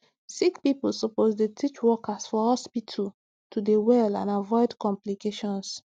sick pipo suppose dey teach workers for hospitu to dey well and avoid complications